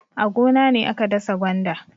A gona ne aka dasa gwanda.